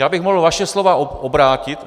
Já bych mohl vaše slova obrátit.